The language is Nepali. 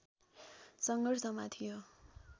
सङ्घर्षमा थियो